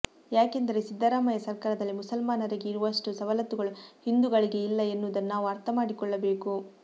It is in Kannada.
ಯಾಕೆಂದರೆ ಸಿದ್ದರಾಮಯ್ಯ ಸರ್ಕಾರದಲ್ಲಿ ಮುಸಲ್ಮಾನರಿಗೆ ಇರುವಷ್ಟು ಸವಲತ್ತುಗಳು ಹಿಂದೂಗಳಿಗೆ ಇಲ್ಲ ಎನ್ನುವುದನ್ನು ನಾವು ಅರ್ಥಮಾಡಿಕೊಳ್ಳಬೇಕು